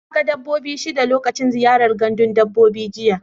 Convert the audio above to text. Na ga dabbobi shida lokacin ziyara gandun dabbobi jiya.